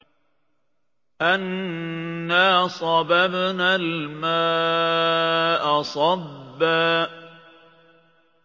أَنَّا صَبَبْنَا الْمَاءَ صَبًّا